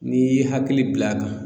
N'i ye hakili bil'a kan